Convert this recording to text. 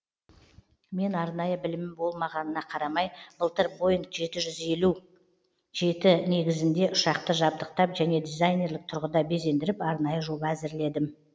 мен арнайы білімім болмағанына қарамай былтыр боинг жеті жүз елу жеті негізінде ұшақты жабдықтап және дизайнерлік тұрғыда безендіріп арнайы жоба әзірледім